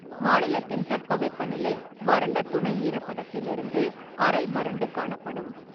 மாநிலத்தின் தட்பவெப்பநிலை வறண்ட துணை ஈரப்பதத்திலிருந்து அரை வறண்டு காணப்படும்.